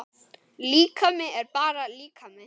Líkami er bara líkami.